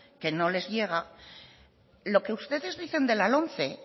que no les llega lo que ustedes dicen de la lomce